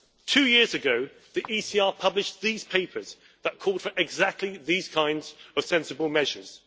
Two years ago the ECR published these papers that called for exactly these kinds of sensible measures.